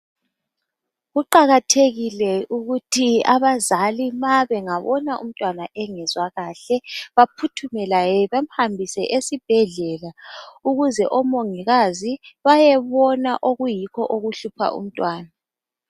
Kuqakathekile ukuthi abazali ma bengabona umntwana engezwa kahle baphuthume laye bamhambise esibhedlela ukuze omongikazi bayebona okuyikho okuhlupha umntwana.